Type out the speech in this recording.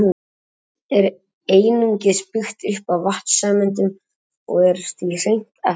Vatn er einungis byggt upp af vatnssameindum og er því hreint efni.